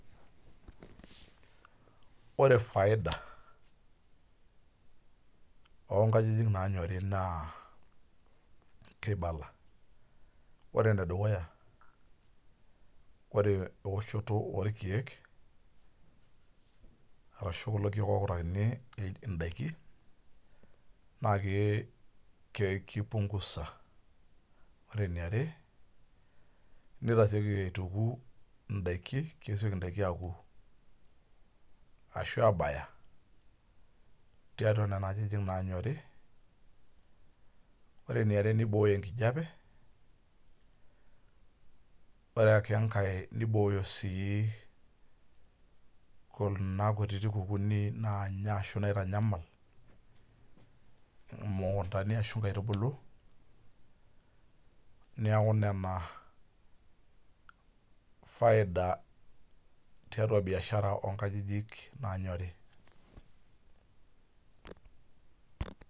Ore faida onkajijik nanyori naa, kibala. Ore enedukuya, ore ewoshoto orkeek, ashu kulo keek okutakini idaiki, naake kipungusa. Ore eniare, nitaseki aituuku idaiki, kesioki daiki aku, ashu abaya tiatua nena ajijik nanyori. Ore eniare nibooyo enkijape, ore ake enkae nibooyo si kuna kutiti kukuuni naanya ashu naitanyamal, mukuntani ashu nkaitubulu, neeku nena faida tialo biashara onkajijik nanyori.